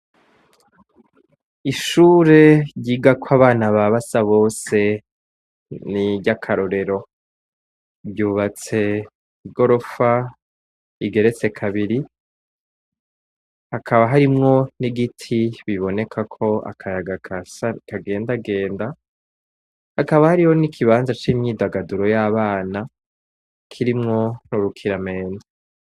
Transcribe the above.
Ishure ryigako abana ba Basabose niry'akarorero, ryubatse mw'igorofa igeretse kabiri, hakaba harimwo n'igiti kiboneka ko akayaga kagendagenda, hakaba hariho n'ikibanza c'imyidagaduro y'abana, kirimwo urukiramende.